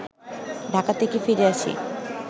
ঢাকা থেকে ফিরে আসি